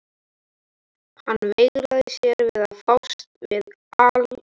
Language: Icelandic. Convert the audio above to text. Hann veigraði sér við að fást við altarisbríkina.